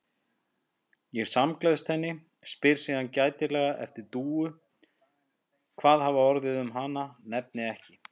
Ég samgleðst henni, spyr síðan gætilega eftir Dúu, hvað hafi orðið um hana, nefni ekki